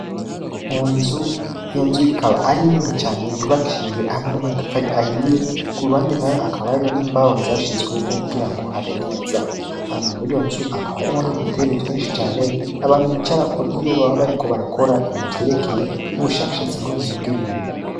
Mu nzu iyo nzu ikaba ari ntini cane yubakishijwe hamwe n'amatafari ahiye ku ruhande na yo akabariyo n'imbawo zashizweyuko kugira ngo habe neza ama muri yo nzu akaba arimo n'udutebe twinshi cane abantu bicarako iyo baba bariko barakora ibintu vyerekeye n'ubushakashatsi bw'uminyi bw'ibintu.